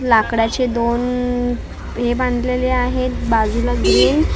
लाकडाचे दोन हे बांधलेले आहेत बाजूला ग्रीन आह --